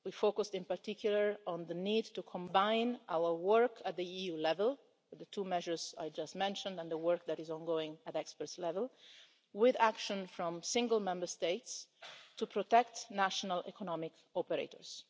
We focused in particular on the need to combine our work at EU level, with the two measures I just mentioned and the work that is ongoing at the expert level, with action from single Member States to protect national economic operators.